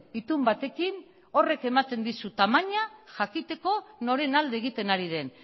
itun batekin horrek ematen dizu tamaina jakiteko noren alde egiten ari den